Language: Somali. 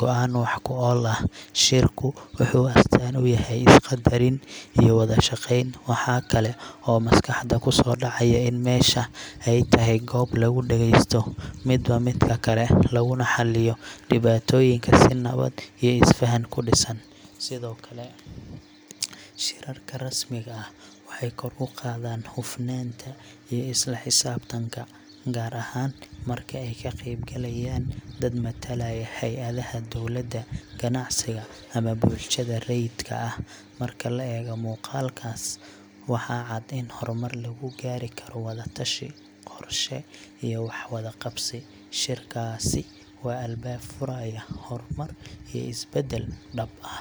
go’aan wax ku ool ah. Shirku wuxuu astaan u yahay is-qaddarin iyo wada shaqeyn. Waxa kale oo maskaxda ku soo dhacaya in meesha ay tahay goob lagu dhageysto midba midka kale, laguna xalliyo dhibaatooyinka si nabad iyo isfahan ku dhisan. Sidoo kale, shirarka rasmiga ah waxay kor u qaadaan hufnaanta iyo isla xisaabtanka, gaar ahaan marka ay ka qaybgalayaan dad matalaya hay’adaha dowladda, ganacsiga, ama bulshada rayidka ah. Marka la eego muuqaalkaas, waxaa cad in horumar lagu gaari karo wada tashi, qorshe iyo wax wada qabsi. Shirkaasi waa albaab furaya horumar iyo isbeddel dhab ah.